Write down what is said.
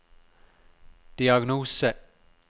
diagnose